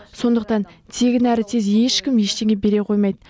сондықтан тегін әрі тез ешкім ештеңе бере қоймайды